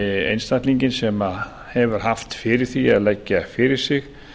einstaklinginn sem hefur haft fyrir því að leggja fyrir sig